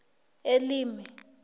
elimi